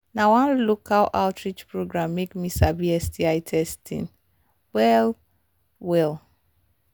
na one local outreach program make me sabi sti testing well well